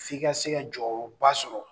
F'i ka se ka jɔyɔrɔba sɔrɔ